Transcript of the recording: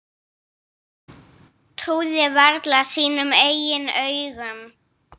Trúði varla sínum eigin augum.